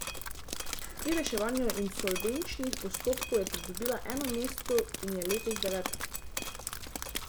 Pri reševanju insolvenčnih postopkov je pridobila eno mesto in je letos deveta.